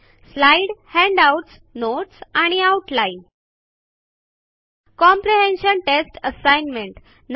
slide handouts notes आणि outline comprehension test assignment